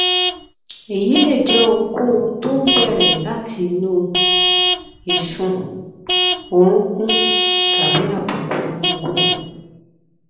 èyí lè jẹ ohunkóhun tó ń bẹrẹ láti inú ìsun orunkun tàbí àbùkù egungun